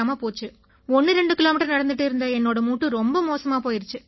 12 kilometre நடந்திட்டு இருந்த என்னோட மூட்டு ரொம்ப மோசமா போயிருச்சு